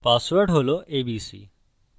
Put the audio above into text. password হল abc